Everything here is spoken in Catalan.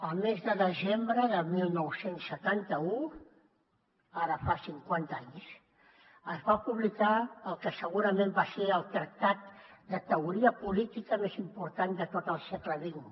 el mes de desembre de dinou setanta u ara fa cinquanta anys es va publicar el que segurament va ser el tractat de teoria política més important de tot el segle xx